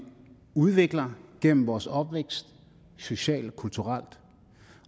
udvikler gennem vores opvækst socialt og kulturelt